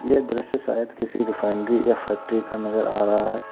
यह दृश्य शायद किसी रिफाइनरी या फैक्ट्री का नजर आ रहा है।